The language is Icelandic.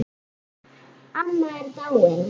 Amma er dáin.